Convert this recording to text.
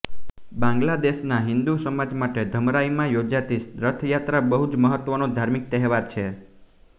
બાંગ્લાદેશનાં હિન્દુ સમાજ માટે ધમરાઈમાં યોજાતી રથયાત્રા બહુ જ મહત્વનો ધાર્મિક તહેવાર છે